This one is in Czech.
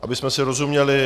Abychom si rozuměli.